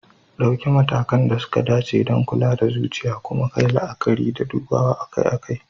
Ɗauki matakan da suka dace don kula da lafiyar zuciya, kuma kayi la'akari da dubawa akai-akai.